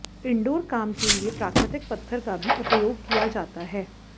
indoor काम के लिए प्राकृतिक पत्थर का भी उपयोग किया जाता है